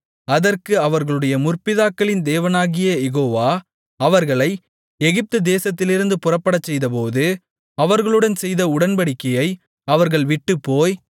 அதற்கு அவர்களுடைய முற்பிதாக்களின் தேவனாகிய யெகோவா அவர்களை எகிப்து தேசத்திலிருந்து புறப்படச்செய்தபோது அவர்களுடன் செய்த உடன்படிக்கையை அவர்கள் விட்டுப்போய்